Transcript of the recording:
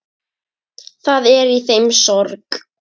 Það er í þeim sorg.